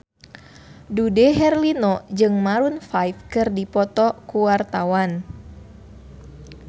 Dude Herlino jeung Maroon 5 keur dipoto ku wartawan